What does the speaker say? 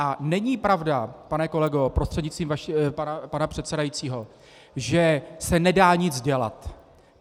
A není pravda, pane kolego prostřednictvím pana předsedajícího, že se nedá nic dělat.